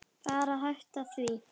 Bara hætta því.